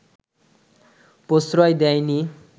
প্রশ্রয় দেয়নি